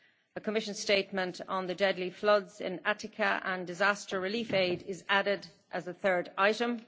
A Commission statement on Deadly floods in Attica and disaster relief aid' is added as a third item.